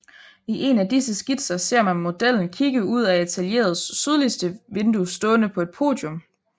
I en af disse skitser ser man modellen kigge ud af atelieret sydligste vindue stående på et podium